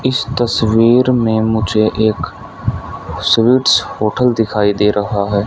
इस तस्वीर में मुझे एक स्वीट्स होटल दिखाई दे रहा है।